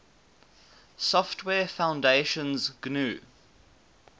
software foundation's gnu